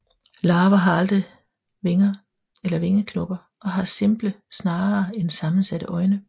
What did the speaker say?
Larver har aldrig vinger eller vingeknopper og har simple snarere end sammensatte øjne